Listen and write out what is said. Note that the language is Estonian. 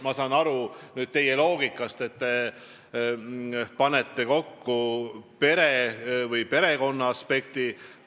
Ma saan aru teie loogikast, te panete need asjad kokku perekonnaaspektist.